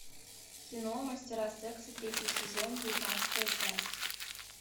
кино мастера секса третий сезон девятнадцатая часть